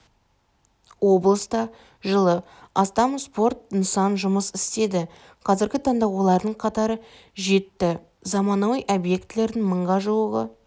облыста жылы астам спорт нысаны жұмыс істеді қазіргі таңда олардың қатары жетті заманауи объектілердің мыңға жуығы